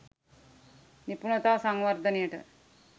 නිපුණතා සංවර්ධනයට.